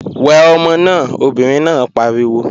Wẹ ọmọ náà! Obìnrin náà pariwo.